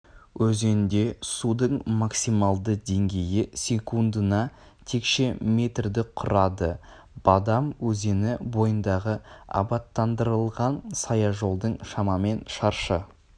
өзенде судың максималды деңгейі секундына текше метрді құрады бадам өзені бойындағы абаттандырылған саяжолдың шамамен шаршы